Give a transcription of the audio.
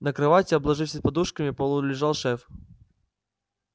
на кровати обложившись подушками полулежал шеф